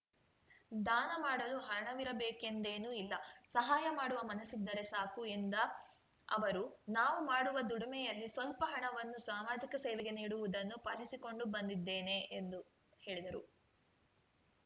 ದಾನ ಮಾಡಲು ಹಣವಿರಬೇಕೆಂದೇನೂ ಇಲ್ಲ ಸಹಾಯ ಮಾಡುವ ಮನಸ್ಸಿದ್ದರೆ ಸಾಕು ಎಂದ ಅವರು ನಾವು ಮಾಡುವ ದುಡಿಮೆಯಲ್ಲಿ ಸ್ವಲ್ಪ ಹಣವನ್ನು ಸಮಾಜಿಕ ಸೇವೆಗೆ ನೀಡುವುದನ್ನು ಪಾಲಿಸಿಕೊಂಡು ಬಂದಿದ್ದೇನೆ ಎಂದರು